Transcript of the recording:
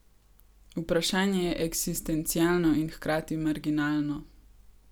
Vprašanje je eksistencialno in hkrati marginalno.